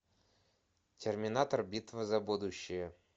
терминатор битва за будущее